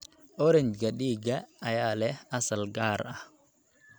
Orange-ga dhiigga ayaa leh asal gaar ah.